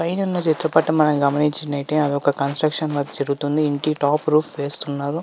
పైనున్న చిత్రపటం మనం గమనించినట్లయితే అది ఒక కన్స్ట్రక్షన్ వర్క్ జరుగుతుంది. ఇంటి టాప్ రూప్ వేస్తున్నారు.